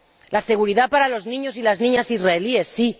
La seguridad para los niños y las niñas israelíes, sí